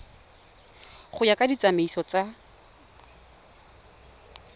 go ya ka ditsamaiso tsa